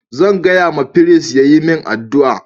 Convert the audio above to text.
Zan gaya ma firist ya yi min addu'a